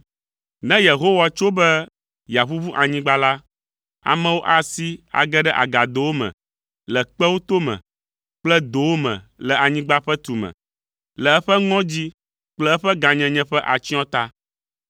Ne Yehowa tso be yeaʋuʋu anyigba la, amewo asi age ɖe agadowo me le kpewo tome kple dowo me le anyigba ƒe tume, le eƒe ŋɔdzi kple eƒe gãnyenye ƒe atsyɔ̃ ta.